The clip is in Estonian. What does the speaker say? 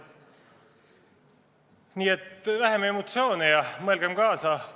Nii et vähem emotsioone ja mõelgem kaasa!